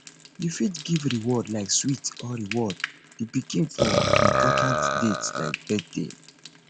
you fit give reward like sweet or reward di pikin for important dates like birthday